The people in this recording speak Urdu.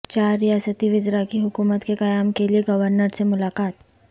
چار ریاستی وزرا کی حکومت کے قیام کے لئے گورنر سے ملاقات